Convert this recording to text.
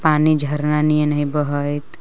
पानी झरना नियन हइ बहत।